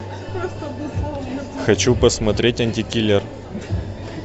хочу посмотреть антикиллер